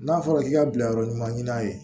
N'a fɔra k'i ka bila yɔrɔ ɲuman ɲini a ye